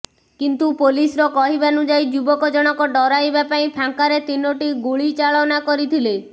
କିନ୍ତୁ ପୋଲିସର କହିବାନୁଯାୟୀ ଯୁବକ ଜଣକ ଡରାଇବା ପାଇଁ ଫାଙ୍କାରେ ତିନୋଟି ଗୁଳିଚାଳନା କରିଥିଲେ